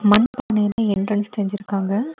மன் பானையில்ல எண்ட்ரன்ஸ் செஞ்சிருக்காங்க.